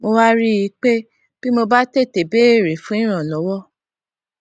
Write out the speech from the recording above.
mo wá rí i pé bí mo bá tètè béèrè fún ìrànlówó